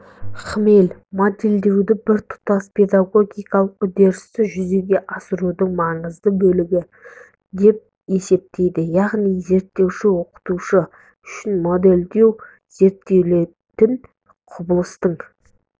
хмель модельдеуді біртұтас педагогикалық үдерісті жүзеге асырудың маңызды бөлігі деп есептейді яғни зерттеуші оқытушы үшін модельдеу зерттелінетін құбылыстың